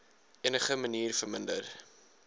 enige manier verminder